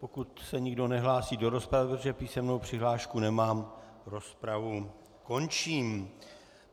Pokud se nikdo nehlásí do rozpravy, protože písemnou přihlášku nemám, rozpravu končím.